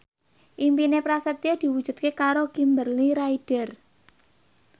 impine Prasetyo diwujudke karo Kimberly Ryder